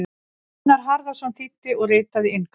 Gunnar Harðarson þýddi og ritaði inngang.